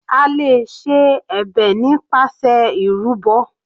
A lè ṣe ẹ̀bẹ̀ nípasẹ̀ ìrúbọ.